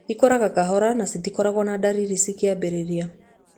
Ikũraga kahora na citikoragwo na ndariri cikĩambĩrĩria.